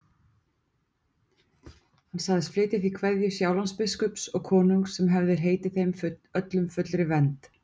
Hann sagðist flytja því kveðju Sjálandsbiskups og konungs sem hefði heitið þeim öllum fullri vernd.